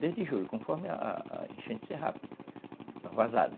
desde julho, conforme a a enchente ser rápida, a vazada.